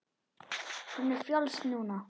Hún er frjáls núna.